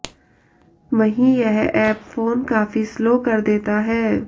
वहीं यह app phone काफी स्लो कर देता है